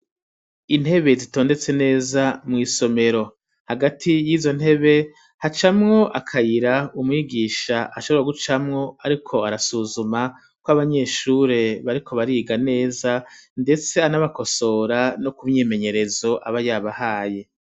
Intebe zitondetse neza mw'isomero hagati yizo ntebe hacamwo akayira umwigisha ashobora gucamwo ariko arasuzuma ko abanyeshure bariko bariga neza ndetse anabakosora no kumyimenyerezo aba yabahaye.